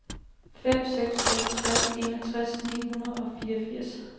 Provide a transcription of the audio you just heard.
fem seks nul tre enogtres ni hundrede og fireogfirs